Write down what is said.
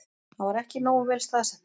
Hann var ekki nógu vel staðsettur